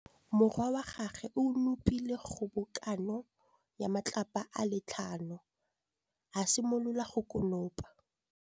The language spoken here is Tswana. Morwa wa gagwe o nopile kgobokanô ya matlapa a le tlhano, a simolola go konopa.